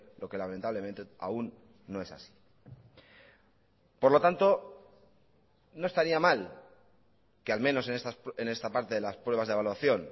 lo que lamentablemente aún no es así por lo tanto no estaría mal que al menos en esta parte de las pruebas de evaluación